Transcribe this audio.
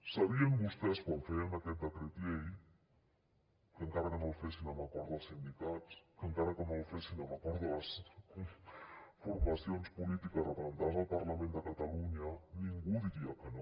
sabien vostès quan feien aquest decret llei que encara que no el fessin amb acord dels sindicats que encara que no el fessin amb acord de les formacions polítiques representades al parlament de catalunya ningú diria que no